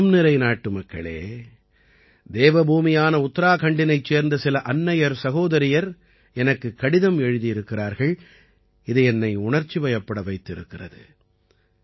என் மனம்நிறை நாட்டுமக்களே தேவபூமியான உத்தராகண்டினைச் சேர்ந்த சில அன்னையர்சகோதரியர் எனக்குக் கடிதம் எழுதியிருக்கிறார்கள் இது என்னை உணர்ச்சிவயப்பட வைத்திருக்கிறது